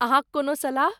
अहाँक कोनो सलाह?